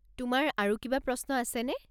তোমাৰ আৰু কিবা প্ৰশ্ন আছেনে?